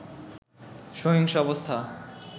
সহিংস অবস্থা